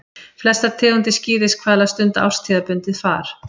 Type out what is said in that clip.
Flestar tegundir skíðishvala stunda árstíðabundið far.